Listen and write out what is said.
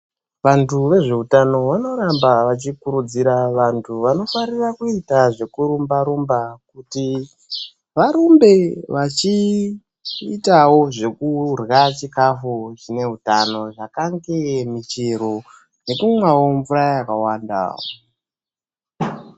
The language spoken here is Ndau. Vantu vezveutano vanoramba vachikurudzira vantu vanofarira kuita zvekurumba-rumba, kuti varumbe vachiitawo zvekurya chikafu chine hutano zvakange michero nekumwawo mvura yakawanda.